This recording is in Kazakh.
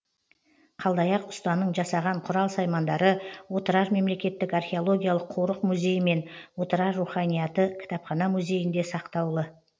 қалдаяқ ұстаның жасаған құрал саймандары отырар мемлекеттік археологиялық корық музейі мен отырар руханияты кітапхана музейінде сақтаулы